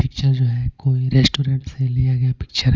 Picture जो है कोई रेस्टोरेंट से लिया गया पिक्चर है.